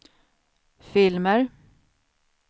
filmer